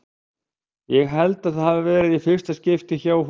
Ég held að það hafi verið í fyrsta skipti hjá honum.